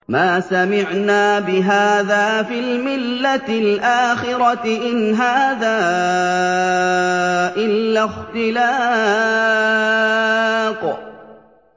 مَا سَمِعْنَا بِهَٰذَا فِي الْمِلَّةِ الْآخِرَةِ إِنْ هَٰذَا إِلَّا اخْتِلَاقٌ